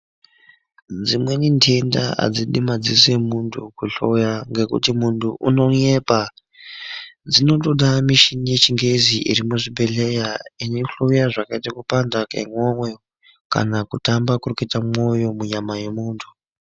Dzimweni ntenda adzidi madziso emuntu kuhloya ngekuti muntu unonyepa. Zvinotoda mishini yechingezi iri muzvibhehleya inohloya zvakaita sekupanda kwemoyo kana kutamba kurikuita mwoyo mumwiri mwemuntu.